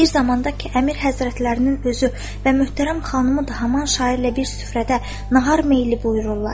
Bir zamanda ki Əmir Həzrətlərinin özü və möhtərəm xanımı da haman şairlə bir süfrədə nahar meyli buyururlar.